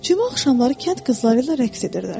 Cümə axşamları kənd qızları ilə rəqs edirlər.